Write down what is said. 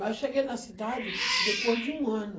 Mas eu cheguei na cidade depois de um ano.